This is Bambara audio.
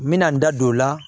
N bɛna n da don o la